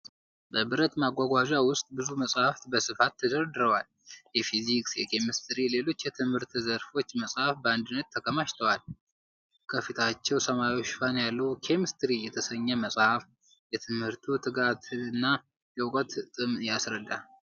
በብረት ማጓጓዣ ውስጥ ብዙ መጽሐፍት በስፋት ተደርድረዋል። የፊዚክስ፣ የኬሚስትሪና ሌሎች የትምህርት ዘርፎች መጻሕፍት በአንድነት ተከማችተዋል። ከፊታቸው ሰማያዊ ሽፋን ያለው "ኬሚስትሪ" የተሰኘው መጽሐፍ የትምህርቱን ትጋትና የዕውቀት ጥም ያስረዳል።